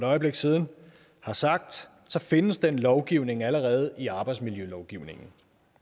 øjeblik siden har sagt findes den lovgivning allerede i arbejdsmiljølovgivningen